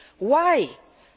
problem. Why